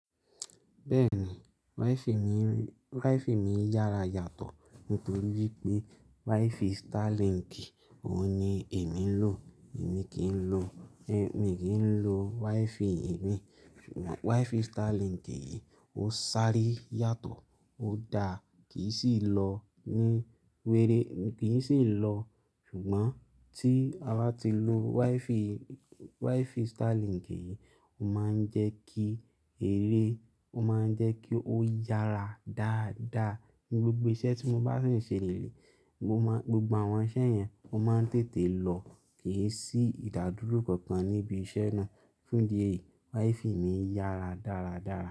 Bẹ́ẹ̀ni, WiFi mi yára yàtọ̀ nítorí pé WiFi Starlink òun ni èmi ń lò. Èmi kì í lò mi kin lo WiFi èmi, ṣùgbọ́n WiFi Starlink yìí ó ṣáré yàtọ̀, ó da, kì í sì lọ ní wèrè, kì í sì lọ. Ṣùgbọ́n tí a bá ti lo WiFi, WiFi Starlink yìí ó máa ń jẹ́ kí eré, ó máa ń jẹ́ kí ó yára dáadáa. Ni gbogbo iṣẹ́ tí mo bá sì ń ṣe leleyi, mo maa gbogbo àwọn iṣẹ́ yẹn ó máa ń tètè lọ kì í sì ìdádúró kankan níbi iṣẹ́ náà. Fún idi ẹ yìí, WiFi mi yára dáradára.